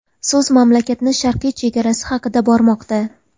So‘z mamlakatning sharqiy chegarasi haqida bormoqda.